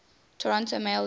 toronto maple leafs